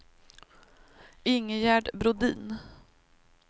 Ingegerd Brodin